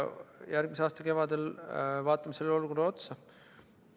Järgmise aasta kevadel vaatame sellele olukorrale uuesti otsa.